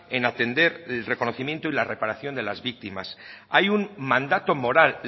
en atender el reconocimiento y reparación de las víctimas hay un mandato moral